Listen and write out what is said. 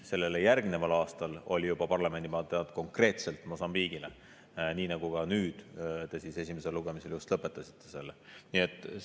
Sellele järgneval aastal parlamendi mandaat juba konkreetselt Mosambiigile, nii nagu te ka nüüd esimesel lugemisel just lõpetasite selle.